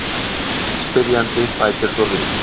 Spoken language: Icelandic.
Spyrjandi bætir svo við: